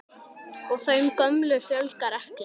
Og þeim gömlu fjölgar ekki.